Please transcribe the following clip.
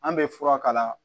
An bɛ fura k'a la